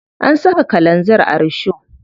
An saka kalanzir a risho.